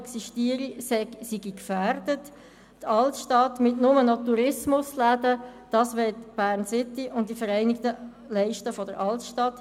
Die Vereinigten Altstadtleiste und Bern-City wollen nicht noch mehr Tourismusläden in der Altstadt.